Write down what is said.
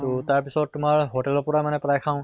তʼ তাৰ পিছত তোমৰ hotel ৰ পৰা মানে প্ৰায় খাওঁ